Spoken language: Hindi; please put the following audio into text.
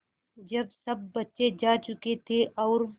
जब सब बच्चे जा चुके थे और